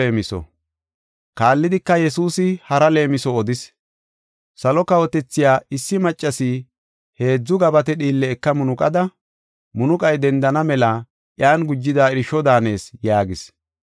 Kaallidika, Yesuusi hara leemiso odis; “Salo kawotethay issi maccasi heedzu gabate dhiille eka munuqada, munuqay dendana mela iyan gujida irsho daanees” yaagis.